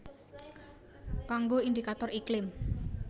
Kanggo indikator iklim